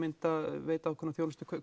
veita ákveðna þjónustu